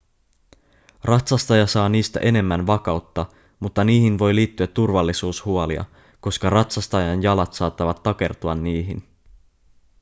ratsastaja saa niistä enemmän vakautta mutta niihin voi liittyä turvallisuushuolia koska ratsastajan jalat saattavat takertua niihin